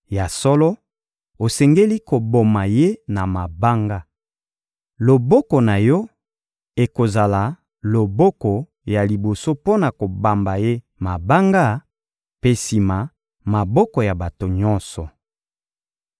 Ya solo, osengeli koboma ye na mabanga. Loboko na yo ekozala loboko ya liboso mpo na kobamba ye mabanga mpe sima maboko ya bato nyonso.